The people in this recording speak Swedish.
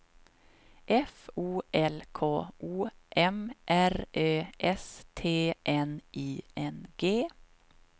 F O L K O M R Ö S T N I N G